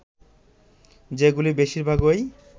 যেগুলি বেশির ভাগই